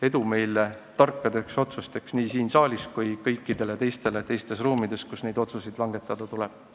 Edu nii meile tarkade otsuste tegemisel siin saalis kui ka kõikidele teistele teistes ruumides, kus neid otsuseid langetada tuleb.